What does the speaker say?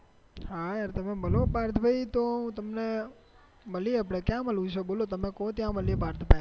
હા યાર્ર તમે મલો પાર્થ ભાઈ તો તમને ક્યાં મળવું છે તમે કો ત્યાં મળીયે પાર્થભાઈ